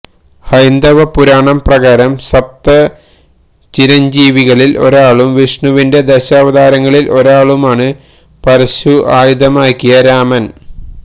ഹൈന്ദവപുരാണം പ്രകാരം സപ്തചിരഞ്ജീവികളിൽ ഒരാളും വിഷ്ണുവിന്റെ ദശാവതാരങ്ങളിൽ ഒരാളുമാണ് പരശു ആയുധമാക്കിയ രാമൻ